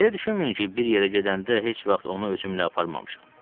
Elə düşünməyin ki, bir yerə gedəndə heç vaxt onu özümlə aparmamışam.